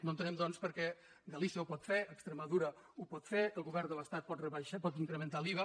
no entenem doncs per què galícia ho pot fer extremadura ho pot fer el govern de l’estat pot incrementar l’iva